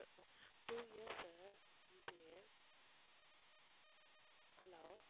two yearsMCA hello